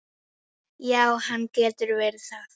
Já, hann getur verið það.